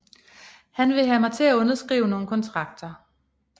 Han ville have mig til at underskrive nogle kontrakter